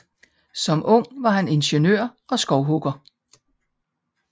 Som ung var han ingeniør og skovhugger